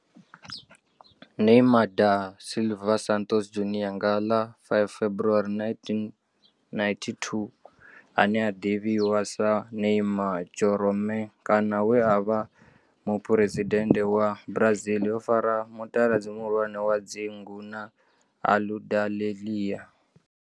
Neymar da Silva Santos Junior nga ḽa 5 February 1992, ane a ḓivhiwa sa Neymar Jeromme kana we a vha e muphuresidennde wa Brazil o fara mutaladzi muhulwane wa dzingu na Aludalelia.